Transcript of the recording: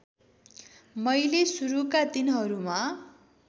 मैले सुरुका दिनहरूमा